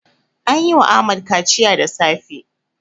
An yi wa Ahmad kaciya da safe.